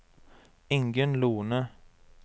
Ingunn Lohne